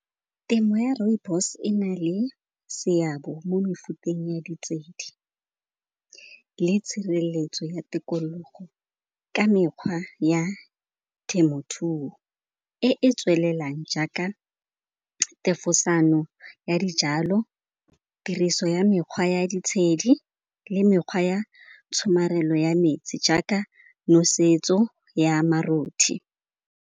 Temo ya rooibos e na le seabe mo mefuteng ya ditshedi le tshireletso ya tikologo. Ka mekgwa ya temothuo e e tswelelang jaaka thefosano ya dijalo, tiriso ya mekgwa ya ditshedi le mekgwa ya tshomarelo ya metsi jaaka nosetso ya marothi.